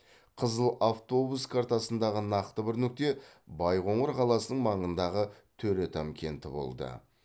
қызыл автобус картасындағы тағы бір нүкте байқоңыр қаласының маңындағы төретам кенті болды